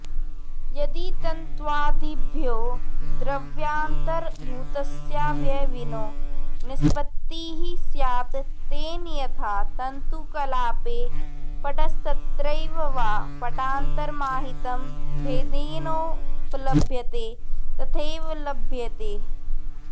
यदि तन्त्वादिभ्यो द्रव्यान्तरभूतस्यावयविनो निष्पत्तिः स्यात् तेन यथा तन्तुकलापे पटस्तत्रैव वा पटान्तरमाहितं भेदेनोपलभ्यते तथैवोपलभ्येत